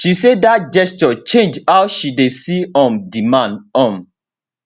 she say dat gesture change how she dey see um di man um